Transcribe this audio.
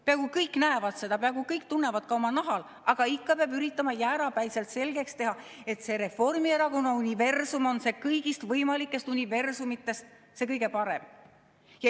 Peaaegu kõik näevad seda, peaaegu kõik tunnevad seda ka oma nahal, aga ikka peab üritama jäärapäiselt selgeks teha, et Reformierakonna universum on kõigist võimalikest universumitest see kõige parem.